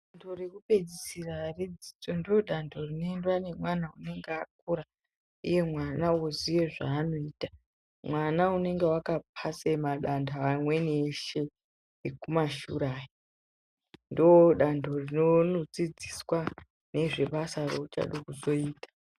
Danto rekupedzisira redzidzo ndiro danto rinoendwa nemwana anenge akura mwana oziye zvaanoita mwana uneonga akapasa madando amweni eshe ekumashure aya ndodanto rinonodzidziswa nezvebasa reuchada kuzoita.